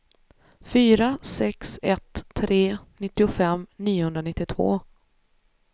fyra sex ett tre nittiofem niohundranittiotvå